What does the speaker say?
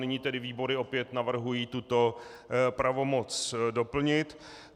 Nyní tedy výbory opět navrhují tuto pravomoc doplnit.